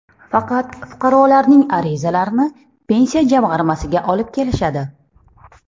Faqat fuqarolarning arizalarini pensiya jamg‘armasiga olib kelishadi.